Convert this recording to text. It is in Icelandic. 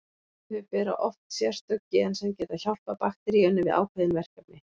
Þau bera oft sérstök gen sem geta hjálpað bakteríunni við ákveðin verkefni.